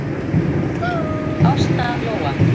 Ásta Lóa.